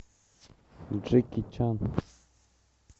джеки чан